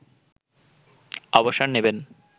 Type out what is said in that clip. অবসর নেবেন